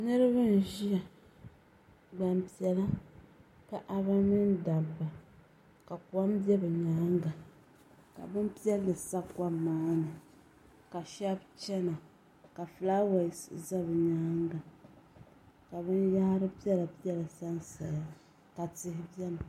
Niriba n ʒia gbampiɛla paɣaba mini dabba ka kom be bɛ nyaanga ka bini piɛlli sa kom maani ka sheba chena ka filaawaasi za bɛ nyaanga ka binyahiri piɛla piɛla sansaya ka tihi biɛni.